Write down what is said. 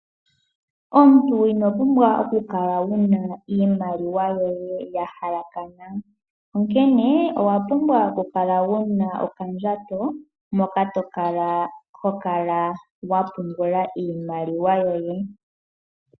Omuntu ino pumbwa okukala wuna iimaliwa yoye ya halakana, onkene owa pumbwa okukala wuna okandjato moka tokala wapungula iimaliwa yoye.